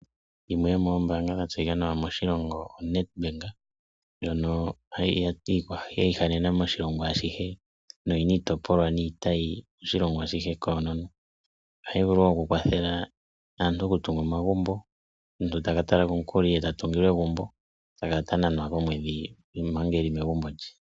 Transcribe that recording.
Yimwe yomoombanga dha tseyika nawa moshilongo oNEDBANK, ndhono yiihanena moshilongo ashihe noyina iitayi niitopolwa moshilongo ashihe koonono. Ohayi vulu okukwatheka aantu okutunga omagumbo, omuntu takatala ko omukuli nde tatungilwa egumbo ee takala tananwa komwedhi mpanga eli megumbo lye.